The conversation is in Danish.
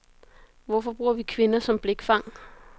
Hvorfor bruger vi kvinder som blikfang?